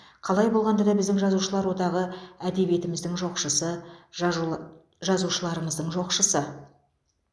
қалай болғанда да біздің жазушылар одағы әдебиетіміздің жоқшысы жажула жазушыларымыздың жоқшысы